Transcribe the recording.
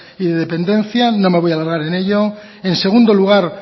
y de dependencia no me voy a alargar en ello en segundo lugar